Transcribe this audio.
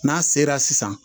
N'a sela sisan